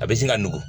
A bɛ se ka nugu